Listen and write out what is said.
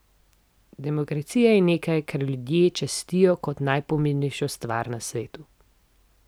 Demokracija je nekaj, kar ljudje častijo kot najpomembnejšo stvar na svetu.